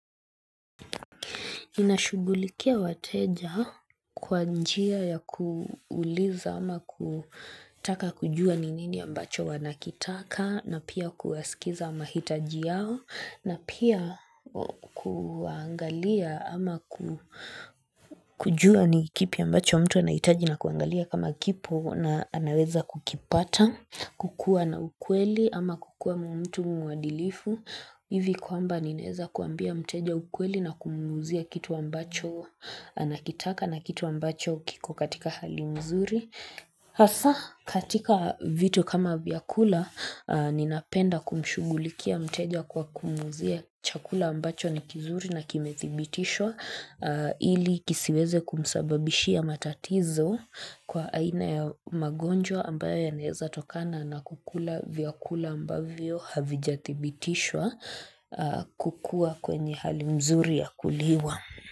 Nashughulikia wateja kwa njia ya kuuliza ama kutaka kujua ni nini ambacho wanakitaka na pia kuwasikiliza mahitaji yao na pia kuangalia ama kujua ni kipi ambacho mtu anahitaji na kuangalia kama kipo na anaweza kukipata, kukua na ukweli ama kukua mtu muadilifu. Hivi kwamba ninaweza kuambia mteja ukweli na kumuuzia kitu ambacho anakitaka na kitu ambacho kiko katika hali nzuri hasa katika vitu kama vyakula ninapenda kumshughulikia mteja kwa kumuuzia chakula ambacho ni kizuri na kimethibitishwa ili kisiweze kumsababishia matatizo kwa aina ya magonjwa ambayo yanaweza tokana na kula vyakula ambayo havijathibitishwa kukua kwenye hali nzuri ya kuliwa.